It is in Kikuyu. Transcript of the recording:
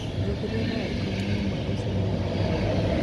Njũkĩrĩa thaa ikũmi naĩmwe rũciini wĩkĩ ino